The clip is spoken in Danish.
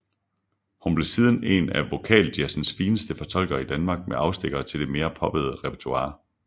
Hun blev siden en af vokaljazzens fineste fortolkere i Danmark med afstikkere til det mere poppede repertoire